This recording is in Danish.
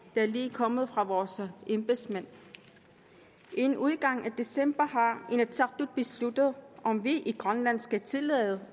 der lige er kommet fra vores embedsmænd inden udgangen af december har inatsisartut besluttet om vi i grønland skal tillade